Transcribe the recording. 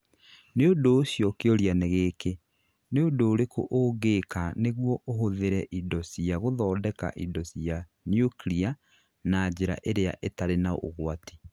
Nĩ ũndũ ũcio kĩũria nĩ gĩkĩ, nĩ ũndũ ũrĩkũ ũngĩka nĩguo ũhũthĩre indo cia gũthondeka indo cia nyuklia na njĩra ĩrĩa ĩtarĩ na ũgwati?